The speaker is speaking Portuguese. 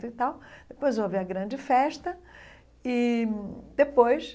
e tal Depois houve a grande festa e, depois,